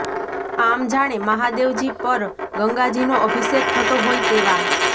આમ જાણે મહાદેવજી પર ગંગાજીનો અભિષેક થતો હોય તેવા